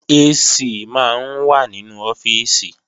AC máa ń wà nínú ọ́fíìsì